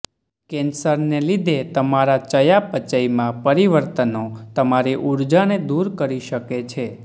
કેન્સરને લીધે તમારા ચયાપચયમાં પરિવર્તનો તમારી ઊર્જાને દૂર કરી શકે છે